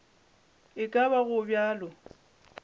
e ka ba go bjalo